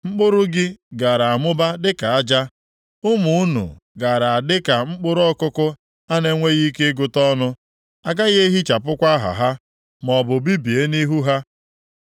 Mkpụrụ gị gaara amụba dịka aja, ụmụ unu gaara a dị ka mkpụrụ ọkụkụ a na-enweghị ike ịgụta ọnụ, a gaghị ehichapụkwa aha ha, maọbụ bibie nʼihu ha.”